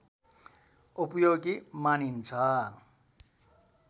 उपयोगी मानिन्छ